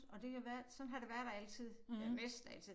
Og det har været sådan har det været altid ja næsten altid